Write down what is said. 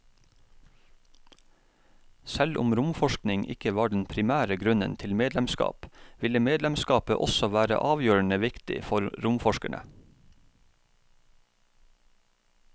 Selv om romforskning ikke var den primære grunnen til medlemskap, ville medlemskapet også være avgjørende viktig for romforskerne.